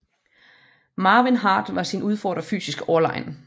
Marvin Hart var sin udfordrer fysisk overlegen